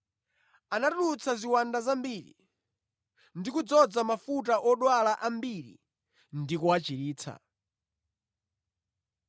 Anatulutsa ziwanda zambiri ndi kudzoza mafuta odwala ambiri ndi kuwachiritsa.